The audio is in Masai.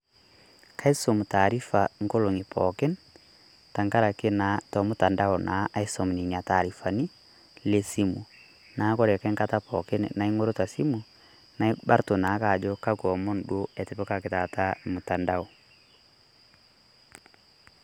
Kaisum taarifa engolong'i pookin tengaraki naa tolmutandao aisum Ina taarifani leSimu. Neeku ore oshi enkata pooki naing'orita esimu naa ibarru naa ake ajo kakwa omon duo etipikaki taata mutandao.